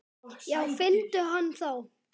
Já finndu hann þá!